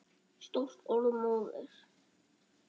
Stórt orð móðir!